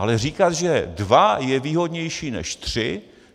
Ale říkat, že dva je výhodnější než tři...?